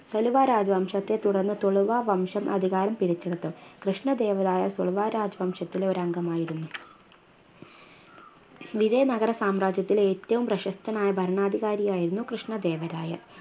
സലുവ രാജവംശത്തെ തുടർന്ന് തുളവാവംശം അധികാരം പിടിച്ചെടുത്തു കൃഷ്ണദേവരായ തുളുവ രാജവംശത്തിലെ ഒരംഗമായിരുന്നു വിജയ നഗര സാമ്രാജ്യത്തിലെ ഏറ്റവും പ്രശസ്തനായ ഭരണാധികാരിയായിരുന്നു കൃഷ്ണദേവരായ